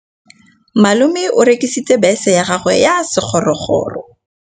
Malome o rekisitse bese ya gagwe ya sekgorokgoro.